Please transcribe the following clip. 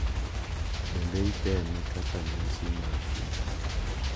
Bende itime kaka nyasi mar piny,